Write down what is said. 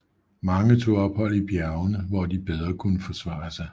Mange tog ophold i bjergene hvor de bedre kunne forsvare sig